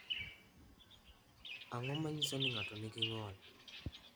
Ang’o ma nyiso ni ng’ato nigi ng’ol?